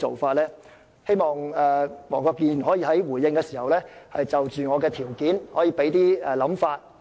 我希望黃國健議員回應時可以就我的條件表達意見。